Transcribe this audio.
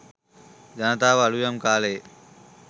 ජනතාව අලුයම් කාලයේ